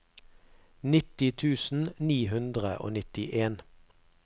nitti tusen ni hundre og nittien